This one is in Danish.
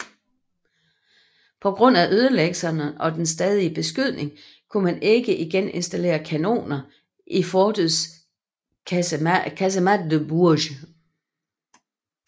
På grund af ødelæggelserne og den stadige beskydning kunne man ikke igen installere kanoner i fortets casemates de Bourges